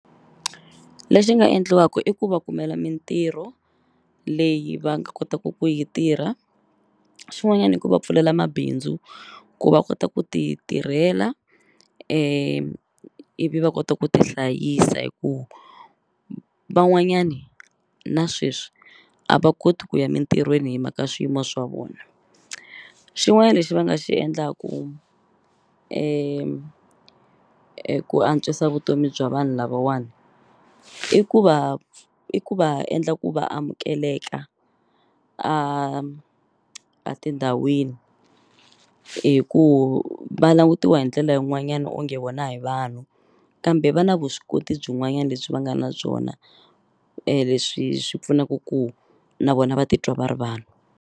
Lexi nga endliwaku i ku va kumela mintirho leyi va nga kotaku ku yi tirha xin'wanyani i ku va pfulela mabindzu ku va kota ku ti tirhela ivi va kota ku ti hlayisa hi ku van'wanyani na sweswi a va koti ku ya mintirhweni hi mhaka swiyimo swa vona xin'wanyani lexi va nga xi endlaku ku antswisa vutomi bya vanhu lavawani i ku va i ku va endla ku va amukeleka a a tindhawini hi ku va langutiwa hi ndlela yin'wanyani onge vona hi vanhu kambe va na vuswikoti byin'wanyani lebyi va nga na byona leswi swi pfunaku ku na vona va titwa va ri vanhu.